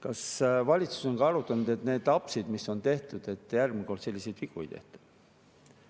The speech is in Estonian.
kas valitsus on ka arutanud, et need apsud, mis on tehtud, et järgmine kord selliseid vigu ei tehtaks.